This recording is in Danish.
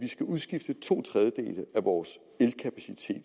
udskifte to tredjedele af vores elkapacitet